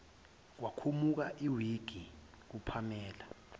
kwakhumuka iwigi kupamela